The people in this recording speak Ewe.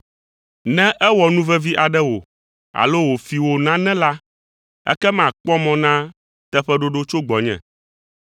Ne ewɔ nu vevi aɖe wò alo wòfi wò nane la, ekema kpɔ mɔ na teƒeɖoɖo tso gbɔnye.